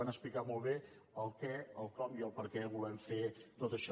van explicar molt bé el què el com i el perquè volem fer tot això